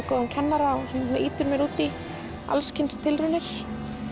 góðan kennara sem ýtir mér út í alls kyns tilraunir